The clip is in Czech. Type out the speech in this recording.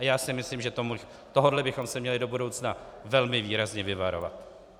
A já si myslím, že tohohle bychom se měli do budoucna velmi výrazně vyvarovat.